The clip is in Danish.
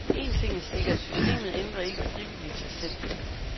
Én ting er sikkert, systemet ændrer ikke frivilligt sig selv.